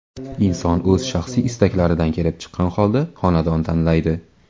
Inson o‘z shaxsiy istaklaridan kelib chiqqan holda xonadon tanlaydi.